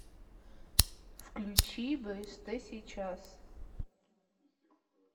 включи бст сейчас